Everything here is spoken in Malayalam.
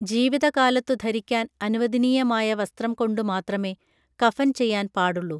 ജീവിതകാലത്തു ധരിക്കാൻ അനുവദനീയമായ വസ്ത്രം കൊണ്ടുമാത്രമേ കഫൻ ചെയ്യാൻ പാടുള്ളൂ